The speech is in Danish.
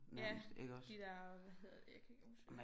Ja de der hvad hedder det jeg kan ikke huske